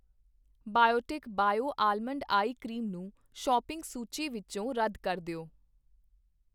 Biotique bio almond eye cream ਨੂੰ shopping ਸੂਚੀ ਵਿੱਚੋ ਰੱਦ ਕਰ ਦਿਓ